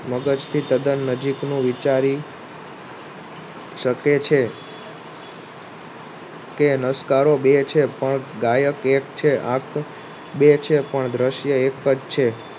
કે તદ્દન નજીક નું વિચારી શકે છે. કે નાસકારો બે છે પણ ગાયક એક છે આખા બે છે પણ દ્રશ્ય એક જ છે